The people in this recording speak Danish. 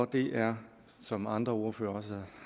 det er som andre ordførere også